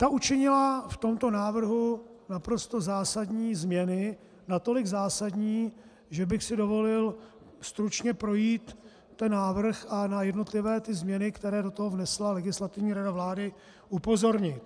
Ta učinila v tomto návrhu naprosto zásadní změny, natolik zásadní, že bych si dovolil stručně projít ten návrh a na jednotlivé ty změny, které do toho vnesla Legislativní rada vlády, upozornit.